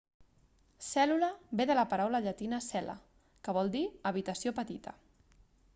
cèl·lula ve de la paraula llatina cella que vol dir habitació petita